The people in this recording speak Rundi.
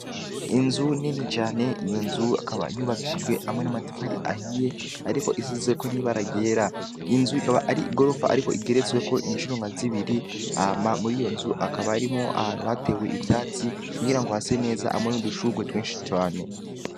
Inzu nini cane, iyo nzu akaba yubakishijwe hamwe n'amatafari ahiye, ariko isizeko n'ibara ryera. inzu ikaba ari igorofa, ariko igeretsweko incuro nka zibiri, hama muri iyo nzu hakaba harimwo ahantu hatewe ivyatsi, kugira ngo hase neza hamwe n'udushurwe twinshi cane.